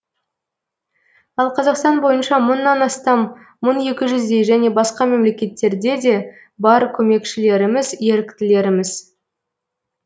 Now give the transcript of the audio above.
ал қазақстан бойынша мыңнан астам мың екі жүздей және басқа мемлекеттерде де бар көмекшілеріміз еріктілеріміз